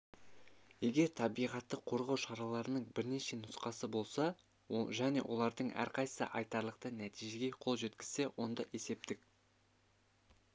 егер табиғатты қорғау шараларының бірнеше нұсқасы болса және олардың әрқайсысы айтарлықтай нәтижеге қол жеткізсе онда есептік